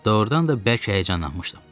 Doğrudan da bərk həyəcanlanmışdım.